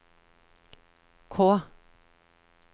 K